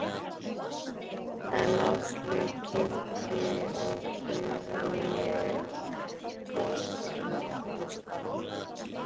En Áslaug kynnti okkur og ég tók af mér hanskana.